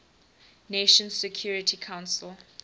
nations security council